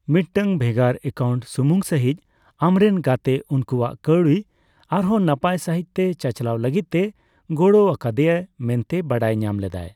ᱢᱤᱫᱴᱟᱝ ᱵᱷᱮᱜᱟᱨ ᱮᱠᱟᱣᱩᱱᱴ ᱥᱩᱢᱩᱝ ᱥᱟᱹᱦᱤᱡᱽ ᱟᱢᱨᱮᱱ ᱜᱟᱛᱮ ᱩᱱᱠᱩᱣᱟᱜ ᱠᱟᱹᱣᱰᱤ ᱟᱨᱦᱚᱸ ᱱᱟᱯᱟᱭ ᱥᱟᱹᱦᱤᱡᱽᱛᱮ ᱪᱟᱪᱞᱟᱣ ᱞᱟᱹᱜᱤᱫᱛᱮᱭ ᱜᱚᱲᱚ ᱠᱟᱣᱫᱮᱭᱟ ᱢᱮᱱᱛᱮ ᱵᱟᱰᱟᱭ ᱧᱟᱢ ᱞᱮᱫᱟᱭ ᱾